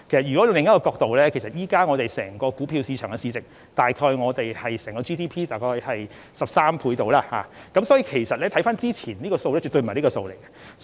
從另一角度而言，現時股票市場的市值大約是我們 GDP 的13倍，所以和之前的數字絕不可同日而語。